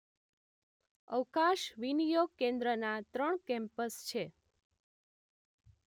અવકાશ વિનિયોગ કેન્દ્રના ત્રણ કેમ્પસ છે